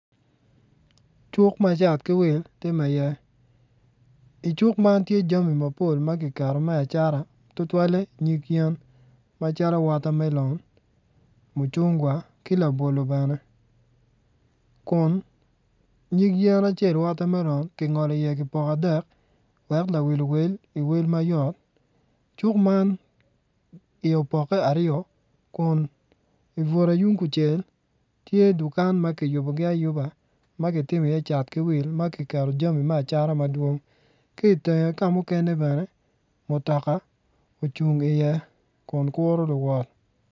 Cuk ma cat ki wil time iye icuk man tye jami mapol ma ki keto me acata tutwalle nyig yen macol watermelon mucungwa ki labolo bene Kun nyig yen acel watermelon ki ngolo i ye ki poko adek wek lawil I wel mayot cuk I ye opokke aryo Kun ibutte yung kucel tye dukan ma ki yubogi ayuba ma ki timi iye cat ki wil like to jami me acata madwong ki ityenge ka mukene bene mutoka ocung iye Kun kuru luwot